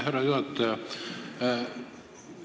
Härra juhataja!